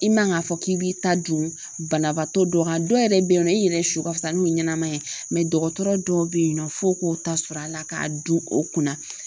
I man ka fɔ k'i b'i ta dun banabaatɔ dɔ kan, dɔw yɛrɛ bɛ yen nɔ i yɛrɛ su ka fisa n'o ɲanama ye mɛ dɔgɔtɔrɔ dɔw bɛ yen nɔ f'o k'o ta sɔr'a la k'a dun o kunna